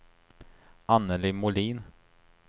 Annelie Molin